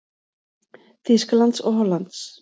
Þýskalands og Hollands.